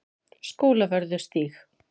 Skólavörðustíg